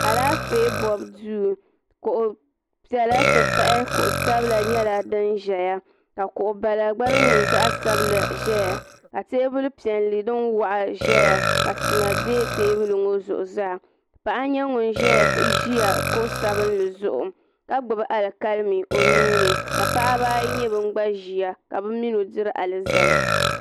alaaƒɛ bɔbi doo kuɣ' piɛla ti pahi kuɣ' ʒiɛhi ka kuɣ' bala gba di nyɛ zaɣ sabila ʒɛya tɛbuli piɛli dini waɣ' ʒɛya ka tima dɛɛyi tɛbuli ŋɔ zuɣ zaa paɣ' nyɛ ŋɔ ʒɛ kuɣ' sabinli li zuɣ ka zaŋ o nu ka paɣibaayi gba ban ʒɛya ka be minodiri alizama